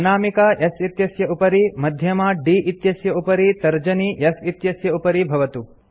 अनामिका S इत्यस्य उपरि मध्यमा D इत्यस्य उपरि तर्जनी F इत्यस्य उपरि भवतु